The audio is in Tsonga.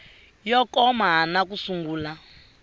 yo koma na ku sungula